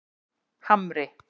Hamri